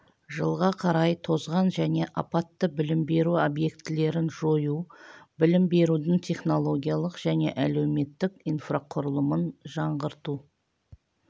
жылға қарай тозған және апатты білім беру объектілерін жою білім берудің технологиялық және әлеуметтік инфрақұрылымын жаңғырту